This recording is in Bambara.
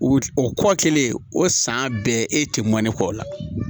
O o kɔ kelen o san bɛɛ e tɛ mɔni kɔ o la